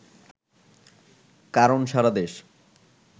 কারণ সারা দেশ